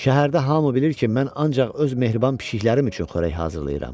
Şəhərdə hamı bilir ki, mən ancaq öz mehriban pişkilərim üçün xörək hazırlayıram.